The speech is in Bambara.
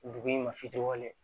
Dugu in ma fitiriwale